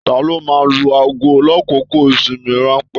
Taló máa n lu aago l'akoko ìsinmi ranpẹ̀?